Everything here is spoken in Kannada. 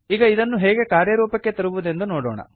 ಈಗ ಇದನ್ನು ಹೇಗೆ ಕಾರ್ಯರೂಪಕ್ಕೆ ತರುವುದೆಂದು ನೋಡೋಣ